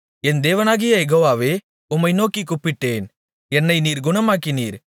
என் தேவனாகிய யெகோவாவே உம்மை நோக்கிக் கூப்பிட்டேன் என்னை நீர் குணமாக்கினீர்